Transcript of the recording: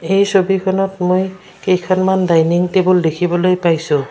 এই ছবিখনত মই কেইখনমান ডাইনিং টেবুল দেখিবলৈ পাইছোঁ।